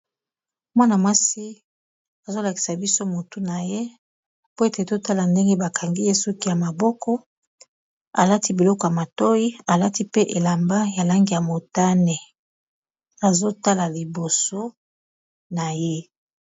Mwana mwasi azolakisa biso motu na ye po ete totala ndenge bakangi ye suki ya maboko alati biloko ya matoyi alati pe elamba ya lange ya motane azotala liboso na ye.